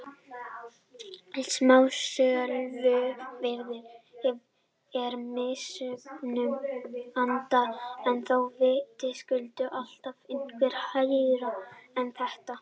Smásöluverð er mismunandi en þó vitaskuld alltaf eitthvað hærra en þetta.